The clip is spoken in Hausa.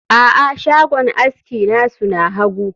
a'a, shagon aski nasu na hagu